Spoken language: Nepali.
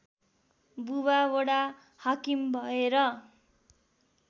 बुबा वडाहाकिम भएर